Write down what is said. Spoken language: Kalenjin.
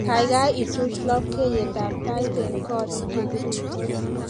Kaikai ichuch labkeyetab tait eng korik che kirutos